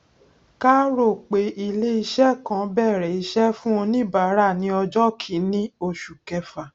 ká rò pé ilé iṣẹ kan bẹrẹ ìṣe fún oníbárà ní ọjọ kiíní oṣù kẹfà